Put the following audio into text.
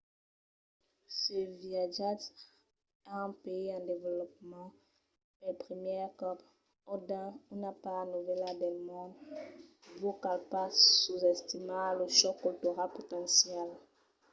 se viatjatz a un país en desvolopament pel primièr còp – o dins una part novèla del mond – vos cal pas sosestimar lo chòc cultural potencial